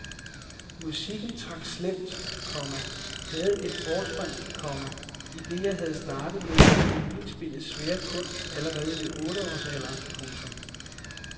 Musikken trak slemt, komma havde et forspring, komma idet jeg havde startet med violinspillets svære kunst allerede i otteårs alderen. punktum